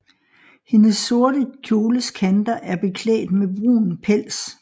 Hendes sorte kjoles kanter er beklædt med brun pels